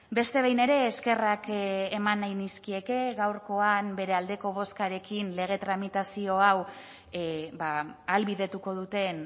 beste behin ere eskerrak eman nahi nizkieke gaurkoan bere aldeko bozkarekin lege tramitazio hau ahalbidetuko duten